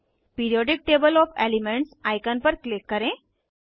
periodic table of the elements icon पर click करें